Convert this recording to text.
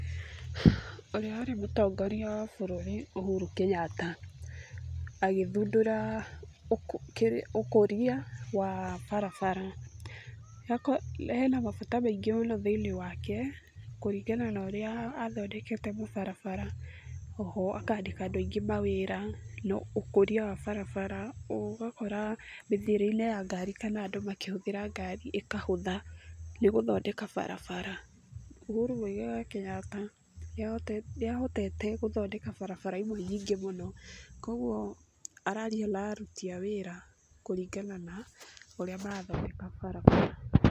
Ũrĩa warĩ mũtongoria wa bũrũri Uhuru Kenyatta, agĩthundũra, ũkũria wa barabara. Hena mabata maingĩ mũno thĩ-inĩ wake kũringana na ũrĩa athondekete mabarabara, o ho akandĩka andũ aingĩ mawĩra na ũkũria wa barabara ũgakora mĩthiĩre-inĩ ya ngari kana andũ makĩhũthĩra ngari ĩkahũtha, nĩ gũthondeka barabara. Uhuru Muigai wa Kenyatta, nĩahotete gũthondeka barabara imwe nyingĩ mũno koguo araria na aruti a wĩra kũringana na ũrĩa marathondeka barabara.